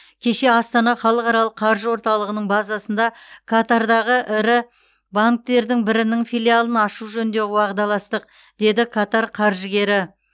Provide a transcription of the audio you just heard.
кеше астана халықаралық қаржы орталығының базасында катардағы ірі банктердің бірінің филиалын ашу жөнінде уағдаластық деді катар қаржыгері